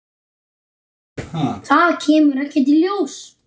Það kemur ekkert ljós.